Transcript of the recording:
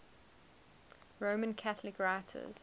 roman catholic writers